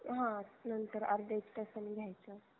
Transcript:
हा नंतर अर्ध्या एक तासानी घ्यायच